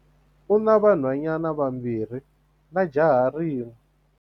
U na vanhwanyana vambirhi na jaha rin'we.